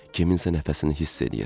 Kiminsə nəfəsini hiss eləyir.